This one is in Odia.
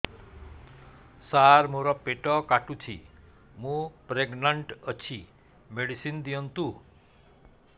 ସାର ମୋର ପେଟ କାଟୁଚି ମୁ ପ୍ରେଗନାଂଟ ଅଛି ମେଡିସିନ ଦିଅନ୍ତୁ